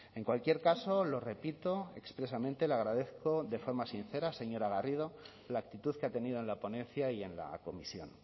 en cualquier caso lo repito expresamente le agradezco de forma sincera señora garrido la actitud que ha tenido en la ponencia y en la comisión